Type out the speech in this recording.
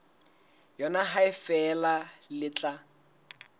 yona ha feela le tla